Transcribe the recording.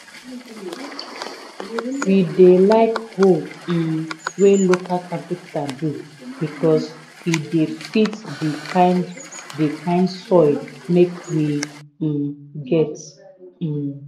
we dey like hoe um wey local capenter do becos e de fit d kind d kind soil make we um get. um